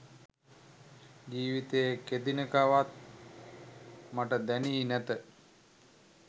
ජීවිතයේ කෙදිනකවත් මට දැනී නැත.